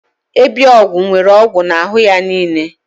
Ebiogwu nwere ogwu n'ahụ ya niile.